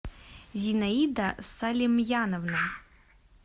зинаида салимьяновна